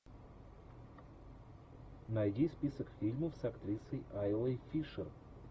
найди список фильмов с актрисой айлой фишер